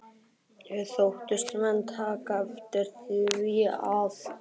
Þóttust menn taka eftir því, að